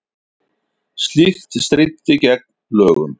Slíkt stríddi gegn lögum